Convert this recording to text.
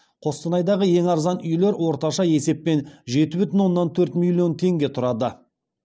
қостанайдаға ең арзан үйлер орташа есеппен жеті бүтін оннан төрт миллион теңге тұрады